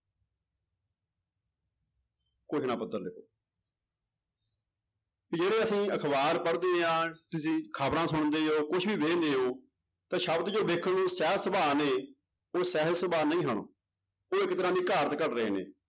ਘੋਸ਼ਣਾ ਪੱਤਰ ਲਿਖੋ ਵੀ ਜਿਹੜੇ ਅਸੀਂ ਅਖ਼ਬਾਰ ਪੜ੍ਹਦੇ ਹਾਂ ਤੁਸੀਂ ਖ਼ਬਰਾਂ ਸੁਣਦੇ ਹੋ ਕੁਛ ਵੀ ਵੇਖਦੇ ਹੋ, ਤਾਂ ਸ਼ਬਦ ਜੋ ਵੇਖਣ ਨੂੰ ਸਹਿਜ ਸੁਭਾਅ ਨੇ ਉਹ ਸਹਿਜ ਸੁਭਾਅ ਨਹੀਂ ਹਨ, ਉਹ ਇੱਕ ਤਰ੍ਹਾਂ ਦੀ ਘਾੜਤ ਘੜ ਰਹੇ ਨੇ।